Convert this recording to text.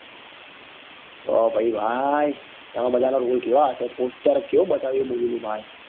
તો પાહી ભાઈ એમાં બધા ના role કેવા હશે poster કેવું બતાવ્યું એ movie નું ભાઈ